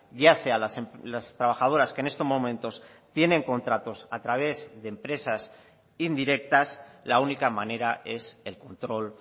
ya sea las trabajadoras que en estos momentos tienen contratos a través de empresas indirectas la única manera es el control